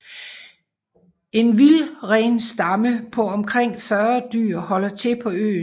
En vildrenstamme på omkring 40 dyr holder til på øen